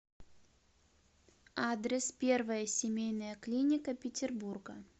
адрес первая семейная клиника петербурга